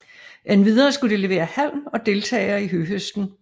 Endvidere skulle de levere halm og deltage i høhøsten